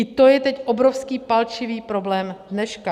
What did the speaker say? I to je teď obrovský palčivý problém dneška.